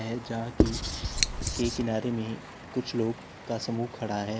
है जहा की के किनारे में कुछ लोग का समूह खड़ा है।